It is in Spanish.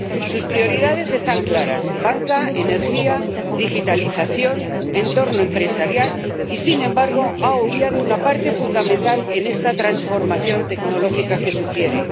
Sus prioridades están claras banca, energía, digitalización, entorno empresarial y, sin embargo, ha obviado una parte fundamental en esta transformación tecnológica que sugiere.